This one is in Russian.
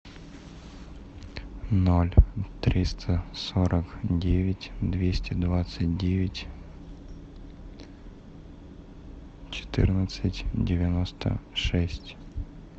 ноль триста сорок девять двести двадцать девять четырнадцать девяносто шесть